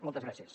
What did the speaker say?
moltes gràcies